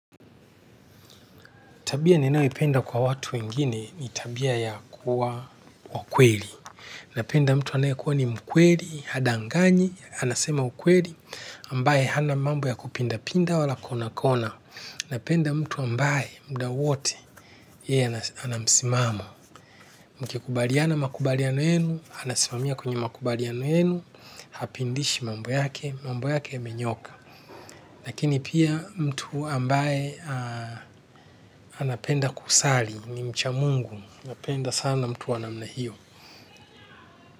Tabia ninayo penda kwa watu wengine ni tabia ya kuwa wakweli. Napenda mtu anayekuwa ni mkweli, hadanganyi, anasema ukweli, ambaye hana mambo ya kupinda pinda wala konakona. Napenda mtu ambaye muda wote, yeye anamsimamo. Mkikubaliana makubaliano yenu, anasimamia kwenye makubaliano yenu, hapindishi mambo yake, mambo yake yamenyoka. Lakini pia mtu ambaye anapenda kusali ni mcha mungu, anapenda sana mtu wanamna hiyo.